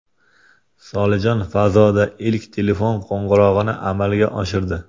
Solijon fazoda ilk telefon qo‘ng‘irog‘ini amalga oshirdi.